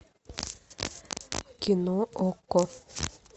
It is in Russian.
кино окко